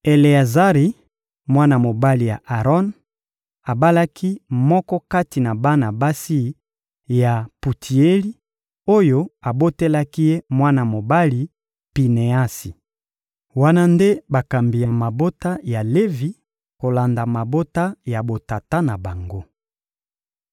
Eleazari, mwana mobali ya Aron, abalaki moko kati na bana basi ya Putieli, oyo abotelaki ye mwana mobali: Pineasi. Wana nde bakambi ya mabota ya Levi kolanda mabota ya botata na bango.